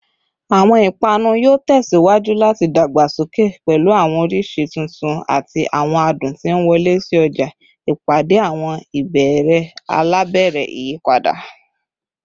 Awọn ipanu yoo tẹsiwaju lati dagbasoke, pẹlu awọn oriṣi tuntun ati awọn adun ti nwọle si ọja, ipade awọn ibeere alabara iyipada